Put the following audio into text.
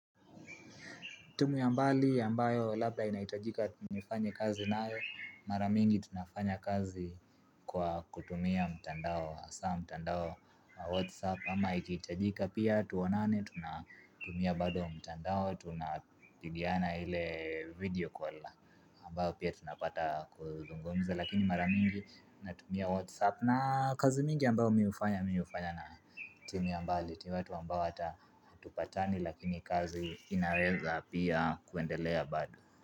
Timu ya mbali ambayo labla inaitajika nifanye kazi nayo mara mingi tunafanya kazi kwa kutumia mtandao hasa mtandao wa whatsapp ama ikiitajika pia tuonane tunatumia bado mtandao tunapigiana ile video call ambao pia tunapata kuzungumza lakini mara mingi natumia WhatsApp na kazi mingi ambayo mi ufanya mi ufanya na timu ya mbali watu ambao hata hatupatani lakini kazi inaeza pia kuendelea bado.